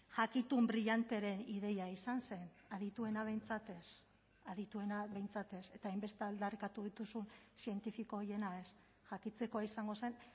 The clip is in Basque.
jakitun brillanteren ideia izan zen adituena behintzat ez adituena behintzat ez eta hainbeste aldarrikatu dituzun zientifiko horiena ez jakitekoa izango zen